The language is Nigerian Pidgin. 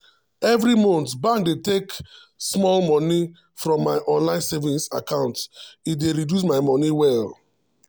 every month bank dey take small money from my online saving account e dey reduce my money well.